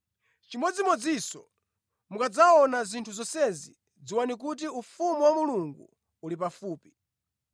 Chimodzimodzinso, mukadzaona zinthu zonsezi, dziwani kuti ufumu wa Mulungu uli pafupi.